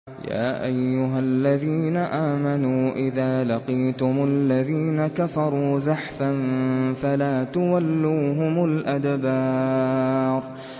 يَا أَيُّهَا الَّذِينَ آمَنُوا إِذَا لَقِيتُمُ الَّذِينَ كَفَرُوا زَحْفًا فَلَا تُوَلُّوهُمُ الْأَدْبَارَ